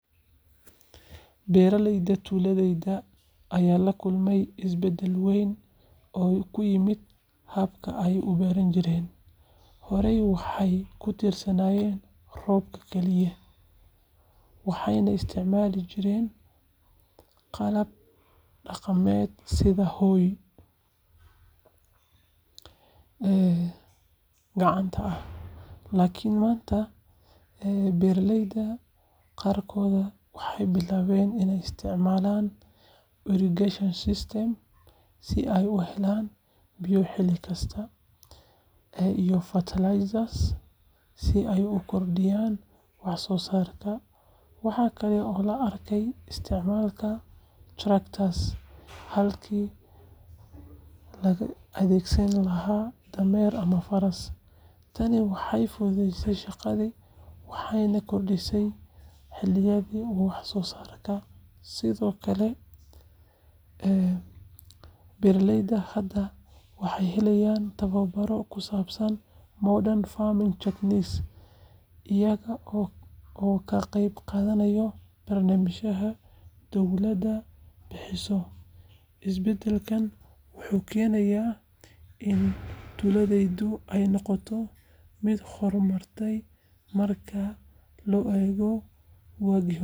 Beeralayda tuuladayda ayaa la kulmay isbeddel weyn oo ku yimid habka ay u beertaan. Horey, waxay ku tiirsanaayeen roobka kaliya, waxayna isticmaali jireen qalab dhaqameed sida hoe gacanta ah. Laakiin maanta, beeraleyda qaarkood waxay bilaabeen inay isticmaalaan irrigation systems si ay u helaan biyo xilli kasta, iyo fertilizers si ay u kordhiyaan wax-soosaarka. Waxa kale oo la arkayaa isticmaalka tractors halkii laga adeegsan lahaa dameer ama faras. Tani waxay fududeysay shaqadii, waxayna kordhisay xilliyada wax-soo-saarka. Sidoo kale, beeraleyda hadda waxay helayaan tababaro ku saabsan modern farming techniques iyaga oo ka qayb qaadanaya barnaamijyada dowladdu bixiso. Isbeddelkan wuxuu keenay in tuuladaydu ay noqoto mid horumartay marka loo eego waagii hore.